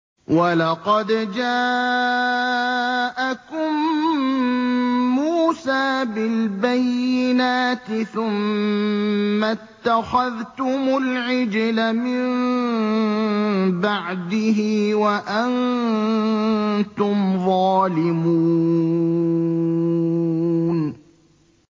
۞ وَلَقَدْ جَاءَكُم مُّوسَىٰ بِالْبَيِّنَاتِ ثُمَّ اتَّخَذْتُمُ الْعِجْلَ مِن بَعْدِهِ وَأَنتُمْ ظَالِمُونَ